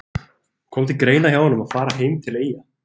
Kom til greina hjá honum að fara heim til Eyja?